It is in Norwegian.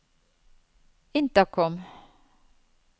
intercom